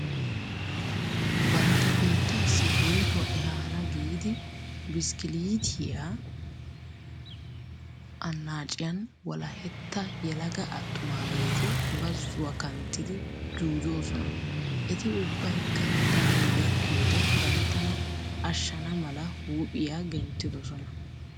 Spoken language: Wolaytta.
Bantta biittaassi woytuwa ehaana giidi bishkkiliitiya annaaciyan wolahetta yelaga attumaageeti bazzuwa kanttidi juujoosona. Eti ubbaykka danoy gakkiyoode banttana ashshana mala huuphiya genttidosona.